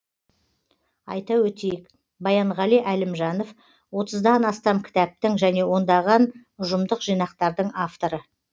айта өтейік баянғали әлімжанов отыздан астам кітаптың және ондаған ұжымдық жинақтардың авторы